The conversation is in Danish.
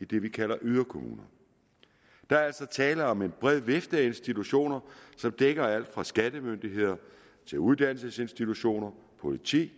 i det vi kalder yderkommuner der er altså tale om en bred vifte af institutioner som dækker alt fra skattemyndigheder til uddannelsesinstitutioner politi